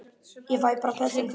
Ég fæ bara pössun fyrir það.